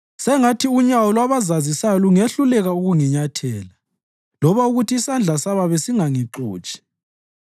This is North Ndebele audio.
Sengathi unyawo lwabazazisayo lungehluleka ukunginyathela, loba ukuthi isandla sababi singangixotshi.